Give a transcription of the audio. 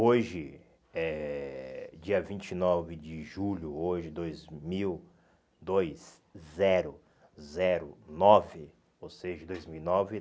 Hoje, eh dia vinte e nove de julho, hoje, dois mil dois zero zero nove, ou seja, dois mil e nove,